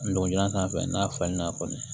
Ndolan sanfɛ n'a falenna kɔni